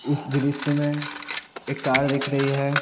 इस दृश्य में एक कार दिख रही है।